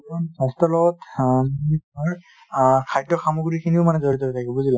স্বাস্থ্যৰ লগত খদ্য সমগ্ৰী খিনিও মানে জড়িত হৈ থকিব বুজিলা |